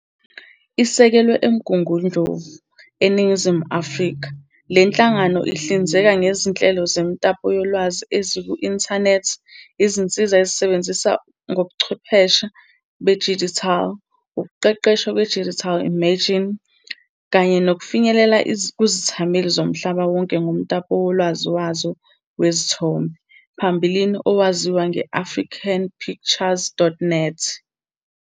Isekelwe eMgungundlovu, eNingizimu Afrika, le nhlangano ihlinzeka ngezinhlelo zemitapo yolwazi eziku-inthanethi, izinsiza ezisebenza ngobuchwepheshe bedijithali, ukuqeqeshwa kwe-digital imaging, kanye nokufinyelela kuzithameli zomhlaba wonke ngomtapo wolwazi wazo wezithombe, phambilini owawaziwa nge-africanpictures.net.